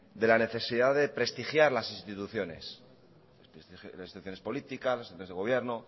de la necesidad de prestigiar las instituciones las instituciones políticas